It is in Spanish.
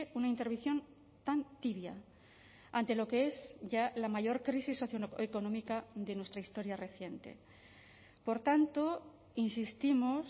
una intervención tan tibia ante lo que es ya la mayor crisis socioeconómica de nuestra historia reciente por tanto insistimos